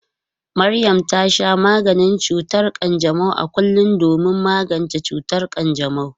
Maryam ta sha maganin cutar kanjamau a kullum domin magance cutar kanjamau.